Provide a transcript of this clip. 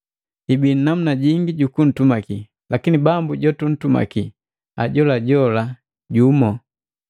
Hibii namuna jingi jukutumaki, lakini Bambu jotutumaki ajolajola jumu.